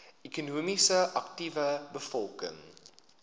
ekonomies aktiewe bevolking